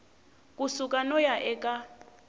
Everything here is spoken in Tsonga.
ku suka no ya eka